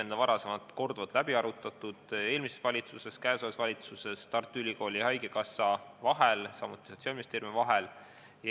See on varem korduvalt läbi arutatud, eelmises valitsuses ja käesolevas valitsuses, Tartu Ülikooli ja haigekassa vahel, samuti Sotsiaalministeeriumiga.